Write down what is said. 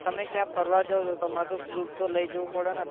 તમે ક્યાં ફરવા જાવ તો તમારે કોઈ proof તો લઇ જવું પડે ને